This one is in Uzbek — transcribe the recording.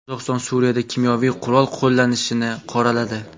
Qozog‘iston Suriyada kimyoviy qurol qo‘llanishini qoraladi.